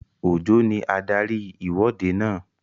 Òjó ní adarí ìwọ́de náà